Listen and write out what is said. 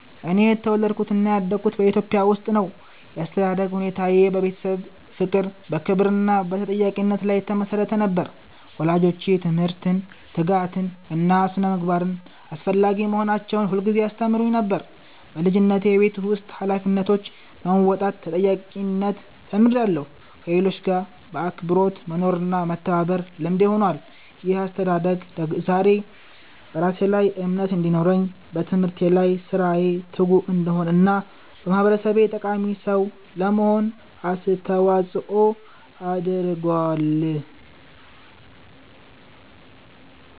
እኔ የተወለድኩትና ያደግኩት በኢትዮጵያ ውስጥ ነው። ያስተዳደግ ሁኔታዬ በቤተሰብ ፍቅር፣ በክብር እና በተጠያቂነት ላይ የተመሰረተ ነበር። ወላጆቼ ትምህርትን፣ ትጋትን እና ስነ-ምግባርን አስፈላጊ መሆናቸውን ሁልጊዜ ያስተምሩኝ ነበር። በልጅነቴ የቤት ውስጥ ኃላፊነቶችን በመወጣት ተጠያቂነትን ተምሬያለሁ፣ ከሌሎች ጋር በአክብሮት መኖርና መተባበርም ልምዴ ሆኗል። ይህ አስተዳደግ ዛሬ በራሴ ላይ እምነት እንዲኖረኝ፣ በትምህርቴ እና በሥራዬ ትጉ እንድሆን እና ለማህበረሰቤ ጠቃሚ ሰው ለመሆን አስተዋጽኦ አድርጓል።